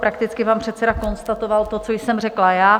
Prakticky pan předseda konstatoval to, co jsem řekla já.